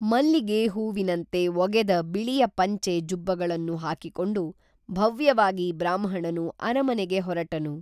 ಮಲ್ಲಿಗೆ ಹೂವಿನಂತೆ ಒಗೆದ ಬಿಳಿಯ ಪಂಚೆ ಜುಬ್ಬಗಳನ್ನು ಹಾಕಿಕೊಂಡು ಭವ್ಯವಾಗಿ ಬ್ರಾಹ್ಮಣನು ಅರಮನೆಗೆ ಹೊರಟನು